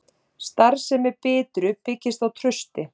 Starfsemi Bitru byggist á trausti